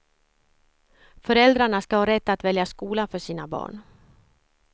Föräldrarna ska ha rätt att välja skola för sina barn.